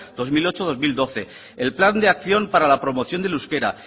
dos mil ocho dos mil doce el plan de acción para la promoción del euskera